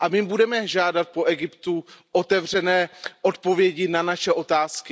A my budeme žádat po Egyptě otevřené odpovědi na naše otázky.